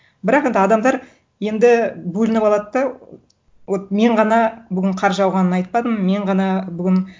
бірақ енді адамдар енді бөлініп алады да вот мен ғана бүгін қар жауғанын айтпадым мен ғана бүгін